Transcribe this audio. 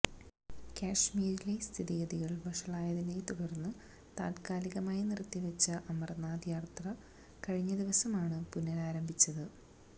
കശ്മീരിലെ സ്ഥിതിഗതികള് വഷളായതിനെത്തുടര്ന്ന് താത്കാലികമായി നിര്ത്തിവച്ച അമര്നാഥ് യാത്ര കഴിഞ്ഞ ദിവസമാണ് പുനരാരംഭിച്ചത്